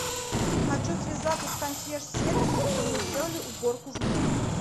хочу связаться с консьерж сервисом чтобы мне сделали уборку в номере